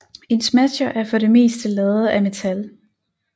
En smasher er for det meste lavet af metal